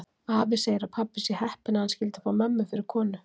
Afi segir að pabbi sé heppinn að hann skyldi fá mömmu fyrir konu.